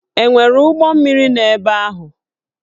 E nwere ụgbọ mmiri nọ ebe ahụ?